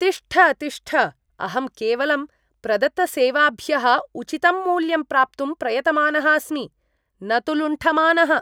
तिष्ठ तिष्ठ! अहं केवलं प्रदत्तसेवाभ्यः उचितं मूल्यं प्राप्तुं प्रयतमानः अस्मि, न तु लुण्ठमानः।